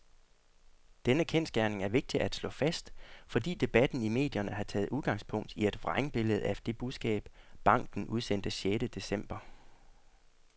Denne kendsgerning er vigtig at slå fast, fordi debatten i medierne har taget udgangspunkt i et vrængbillede af det budskab, banken udsendte sjette december.